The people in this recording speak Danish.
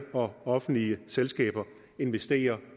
og offentlige selskaber vil investere